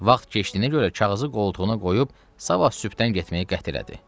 Vaxt keçdiyinə görə kağızı qoltuğuna qoyub sabah sübdən getməyə qəti elədi.